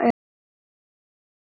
Ekki útiloka það.